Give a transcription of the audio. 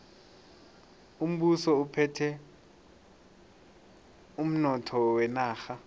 umbuso uphethe umnotho wenarha